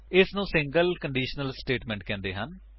ਇਸ ਨੂੰ single conditional statement ਕਹਿੰਦੇ ਹਨ